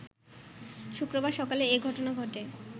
শুক্রবার সকালে এ ঘটনা ঘটে